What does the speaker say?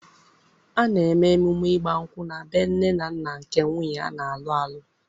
A na-eme emume ịgba nkwụ na bee nne na nna nke nwunye a na-alụ alụ